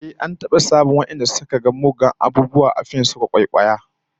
Ehh, an taba samun wadanda suka ga muggan abubuwa da laifuffuka a fim suka kwaikwaya